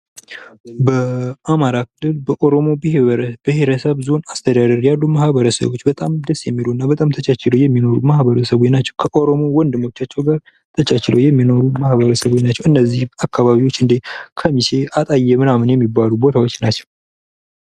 በአማራ ክልል በኦሮሞ ብሄረሰብ ዞን አስተዳደር ያሉ ማህበረሰብ በጣም ደስ የሚልና በጣም ተጫጭኖ የሚኖሩ ሰዎች ናቸው። ከኦሮሞ ወንድሞቻቸው ጋር ተቻችለው የሚኖሩ ማህበረሰቦች ናቸው። እነዚህ አካባቢዎች ከሚሴ አጣዬ ምናምን የሚባሉት ቦታዎች ናቸው።